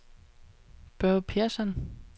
Børge Persson